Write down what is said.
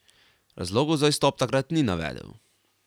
Razlogov za izstop takrat ni navedel.